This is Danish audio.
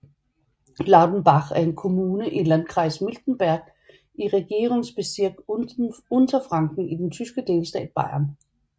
Laudenbach er en kommune i Landkreis Miltenberg i Regierungsbezirk Unterfranken i den tyske delstat Bayern